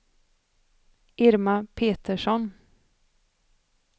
Irma Petersson